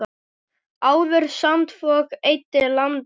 Áður sandfok eyddi landi.